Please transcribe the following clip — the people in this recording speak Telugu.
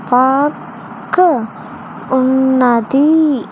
పార్క్ ఉన్నది.